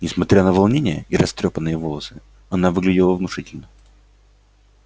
несмотря на волнение и растрёпанные волосы она выглядела внушительно